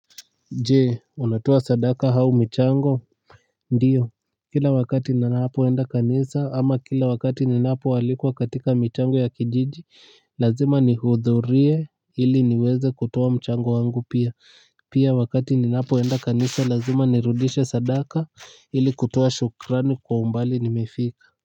Je, unatoa sadaka au michango? Ndio. Kila wakati ninapoenda kanisa ama kila wakati ninapoalikwa katika michango ya kijiji. Lazima nihudhurie ili niweze kutoa mchango wangu pia. Pia wakati ninapoenda kanisa lazima nirudishe sadaka ili kutoa shukrani kwa umbali nimefika.